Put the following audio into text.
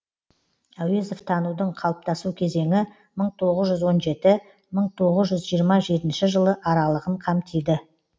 әуезов танудың қалыптасу кезеңі мың тоғыз жүз он жеті мың тоғыз жүз жиырма жетінші жылы аралығын қамтиды